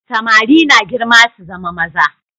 Samari na girma su zama maza.